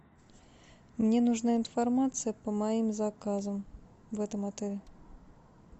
мне нужна информация по моим заказам в этом отеле